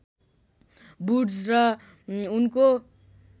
Wood's र उनको